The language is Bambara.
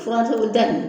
Fura sugu ta in